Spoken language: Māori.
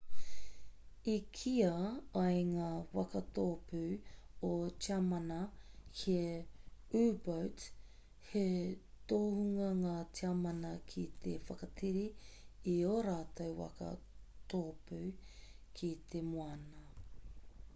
i kīa ai ngā waka tōpū o tiamana he u-boat he tohunga ngā tiamana ki te whakatere i ō rātou waka tōpū ki te moana